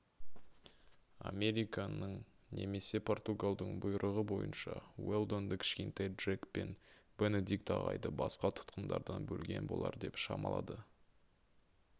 американның немесе португалдың бұйрығы бойынша уэлдонды кішкентай джек пен бенедикт ағайды басқа тұтқындардан бөлген болар деп шамалады